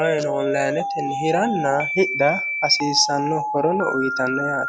ayino onlayinetenni hiranna hidha hasiissanno horono uyitanno yaate